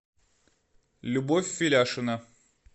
любовь феляшина